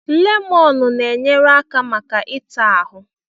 Lemọnụ na-enyere aka maka ị ta ahụ.